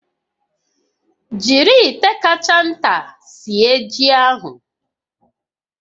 Jiri ite kacha nta sie ji ahụ